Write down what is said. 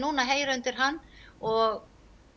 heyra undir hann og